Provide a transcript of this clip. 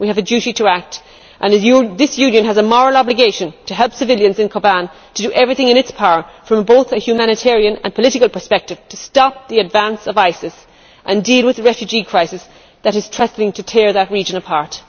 We have a duty to act, and this Union has a moral obligation to help civilians in Kobane to do everything in its power, from both a humanitarian and political perspective, to stop the advance of ISIS and deal with the refugee crisis that is threatening to tear that region apart.